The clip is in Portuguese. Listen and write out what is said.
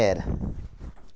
Era.